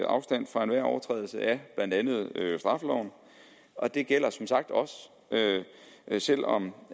afstand fra enhver overtrædelse af blandt andet straffeloven og det gælder som sagt også selv om